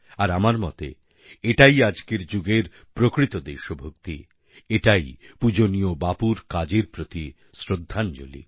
আর আমার মতে এটাই আজকের যুগের প্রকৃত দেশভক্তি এটাই পুজনীয় বাপুর কাজের প্রতি শ্রদ্ধাঞ্জলি